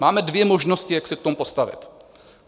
Máme dvě možnosti, jak se k tomu postavit.